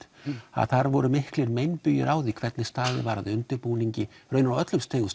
að þar voru mikilir meinbugir á því hvernig staðið var að undibúningi á öllum stigum